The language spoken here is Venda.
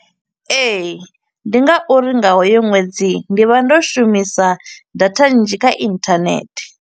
Ee, ndi ngauri nga hoyo ṅwedzi, ndi vha ndo shumisa data nnzhi kha inthanethe.